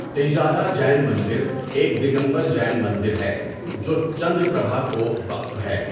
تیجارا جین مندر ایک دیگمبر جین مندر ہے جو چندر پربھا کو وقف ہے۔